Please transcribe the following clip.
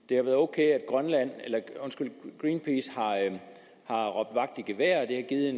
det har været ok at greenpeace har råbt vagt i gevær det har givet